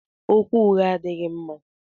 Okwu ụgha adịghị mma.